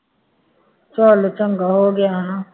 ਚੱਲ ਚੰਗਾ ਹੋ ਗਿਆ ਹੈ ਨਾ